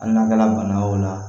An lakana bana o la